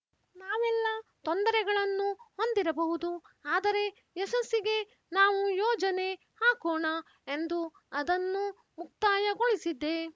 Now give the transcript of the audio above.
ನಾವೆಲ್ಲ ತೊಂದರೆಗಳನ್ನು ಹೊಂದಿರಬಹುದು ಆದರೆ ಯಶಸ್ಸಿಗೆ ನಾವು ಯೋಜನೆ ಹಾಕೋಣ ಎಂದು ಅದನ್ನು ಮುಕ್ತಾಯಗೊಳಿಸಿದ್ದೆ